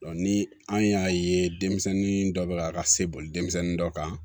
ni an y'a ye denmisɛnnin dɔ bɛ ka se boli denmisɛnnin dɔ kan